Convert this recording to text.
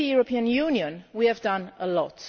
Within the European Union we have done a lot.